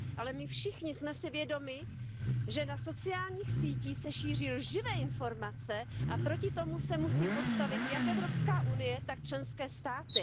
Ale my všichni jsme si vědomi, že na sociálních sítích se šíří lživé informace, a proti tomu se musí postavit jak Evropská unie, tak členské státy.